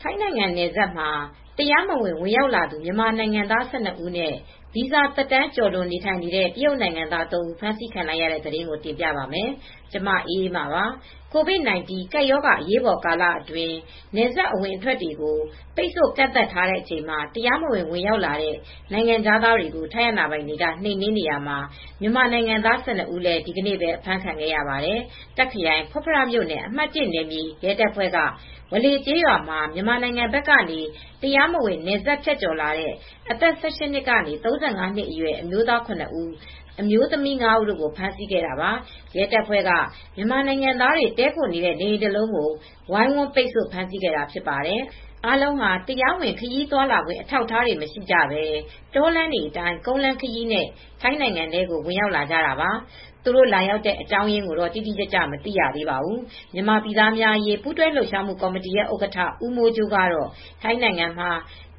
ထိုင်းနိုင်ငံနယ်စပ်မှာ တရားမဝင် ဝင်ရောက်လာသူ မြန်မာနိုင်ငံသား ၁၂ ဦးနဲ့ ဗီဇာသက်တမ်းကျော်လွန် နေထိုင်နေတဲ့ တရုတ်နိုင်ငံသား သုံး ဦး ဖမ်းဆီးခံလိုက်ရတဲ့သတင်းကို တင်ပြပါမယ်။ ဗွီအိုအေမြန်မာပိုင်း သတင်းထောက် မအေးအေးမာက သတင်းပေးပို့ထားပါတယ်။ COVID-19 ကပ်ရောဂါ အရေးပေါ်ကာလအတွင်း နယ်စပ်အဝင်တွေကို ပိတ်ဆို့ကန့်သတ်ထားချိန်မှာ တရားမဝင် ဝင်ရောက်လာတဲ့ နိုင်ငံခြားသားတွေကို ထိုင်းအာဏာပိုင်တွေက နှိမ်နင်းနေရာမှာ မြန်မာနိုင်ငံသား ၁၂ ဦးလည်း ဒီကနေ့ပဲ အဖမ်းခံခဲ့ရပါတယ်။ တာ့ခ်ခရိုင်ဖုတ်ဖ မြို့နယ် အမှတ် ၁ နယ်မြေ ရဲတပ်ဖွဲ့က ဝါလေ ကျေးရွာမှာ မြန်မာနိုင်ငံဘက်ကနေ တရားမဝင် နယ်စပ်ဖြတ်ကျော်လာတဲ့ အသက် ၁၈ နှစ်ကနေ ၃၅ အရွယ် အမျိုးသား ၇ ဦး၊ အမျိုသမီး ၅ ဦးကို ဖမ်းဆီးခဲ့တာပါ။ ရဲတပ်ဖွဲ့က မြန်မာနိုင်ငံသားတွေ တည်းခိုနေတဲ့ နေအိမ်တလုံးကို ဝိုင်းဝန်းပိတ်ဆို့ ဖမ်းဆီးခဲ့တာဖြစ်ပါတယ်။ အားလုံးဟာ တရားဝင် ခရီးသွားခွင့် အထောက်အထား မရှိကြဘဲ တောလမ်းတွေအတိုင်း ကုန်းလမ်းခရီးနဲ့ ထိုင်းနိုင်ငံကို ဝင်ရောက်လာတာပါ။ သူတို့လာရောက်တဲ့ အကြောင်းရင်းကိုတော့ တိတိကျကျ မသိရသေးပါဘူး။ မြန်မာပြည်သားများအရေး ပူးတွဲလှုပ်ရှားမှုကော်မတီ ဥက္ကဋ္ဌ ဦးမိုးကြိုးကတော့ ထိုင်းနိုင်ငံမှာ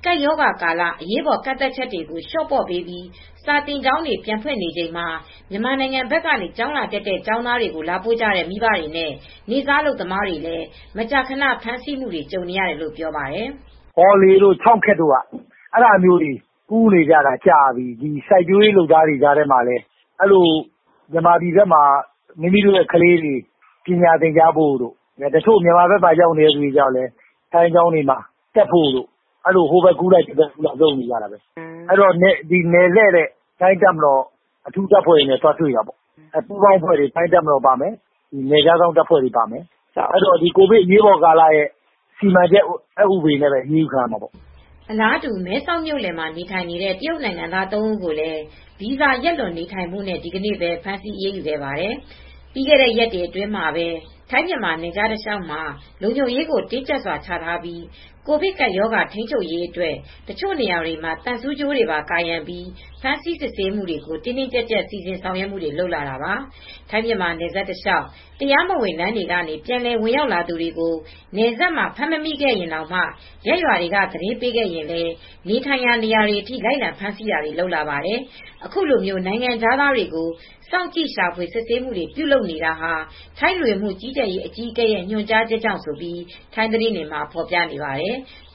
ကပ်ရောဂါကာလ အရေးပေါ် ကန့်သတ်ချက်တွေကို လျှော့ပေါ့ပေးပြီး စာသင်ကျောင်းတွေ ပြန်ဖွင့်နေချိန်မှာ မြန်မာနိုင်ငံဘက်က ကျောင်းလာတက်တဲ့ ကျောင်းသားတွေကို လာပို့ကြတဲ့ မိဘတွေနဲ့ နေ့စားအလုပ်သမားတွေလည်း မကြာခဏ ဖမ်းဆီးမှုတွေ ကြုံနေရတယ်လို့ ပြောပါတယ်။ "ဝါးလေးတို့ ကျောက်ခက်တို့ဘက်မှာ ဒီလို ကူးသန်းသွားလာနေတာ ကြာပြီ။ စိုက်ပျိုးရေးလုပ်သားတချို့ကလည်း မြန်မာဘက်မှာ မိမိတို့ကလေးတွေ ပညာသင်ကြားဖို့တို့ တချို့ကျတော့လည်း သူတို့ကလေးတွေ ထိုင်းဘက်မှာ ပညာသင်ကြားဖို့တို့ဆိုပြီး ကူးသန်းသွားလာမှုတွေ ရှိနေတာပဲ ကင်းလှည့်တဲ့ ထိုင်းတပ်မတော်အထူးအဖွဲ့တွေ နယ်ခြားစောင့်အဖွဲ့တွေ ပါမယ်။ သူတို့ကတော့ ကိုဗစ် အရေးပေါ်ကာလ စီမံချက်ဥပဒေနဲ့ပဲ အရေးယူခံရမှာပေါ့။" အလားတူ မဲဆောက်မြို့လယ်မှာ နေထိုင်နေတဲ့ တရုတ်နိုင်ငံသား သုံးဦးကိုလည်း ဗီဇာ ရက်လွန် နေထိုင်နေမှုနဲ့ ဒီနေ့ပဲ ဖမ်းဆီးအရေးယူခဲ့ပါတယ်။ ပြီးခဲ့တဲ့ ရက်တွေအတွင်းမှာပဲ ထိုင်းမြန်မာနယ်ခြား တလျှောက်မှာ လုံခြုံရေးကို တင်းကြပ်စွာချထားပြီး ကိုဗစ် ကပ်ရောဂါပိုးထိန်းချုပ်ရေးအတွက် တချို့နေရာတွေမှာ သံဆူးကြိုးတွေပါကာရံပြီး ဖမ်းဆီးစစ်ဆေးမှုတွေကို တင်းတင်းကြပ်ကြပ် စီစဉ်ဆောင်ရွက်မှုတွေ လုပ်လာတာပါ။ ထိုင်းမြန်မာနယ်စပ်တလျှောက် တရားမဝင်လမ်းတွေကနေ ပြန်လည်ဝင်ရောက်လာတဲ့ သူတွေကို နယ်စပ်မှာ ဖမ်းမမိခဲ့ရင်တောင်မှ ရပ်ရွာတွေက သတင်းပေးခဲ့ရင်လည်း နေထိုင်ရာနေရာတွေအထိ လိုက်လံဖမ်းဆီးတာတွေလည်း လုပ်လာပါတယ်။ အခုလို နိုင်ငံခြားသားတွေကို စောင့်ကြည့် ရှာဖွေစစ်ဆေးမှုတွေ ပြုလုပ်နေတာဟာ ထိုင်း လူဝင်မှုကြီးကြပ်ရေးဌာန အကြီးအကဲရဲ့ ညွှန်ကြားချက်ကြောင့်လို့လည်း ထိုင်းသတင်းတွေမှာ ဖော်ပြနေပါတယ်။